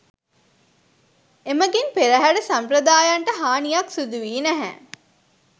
එමඟින් පෙරහර සාම්ප්‍රදායන්ට හානියක් සිදු වී නැහැ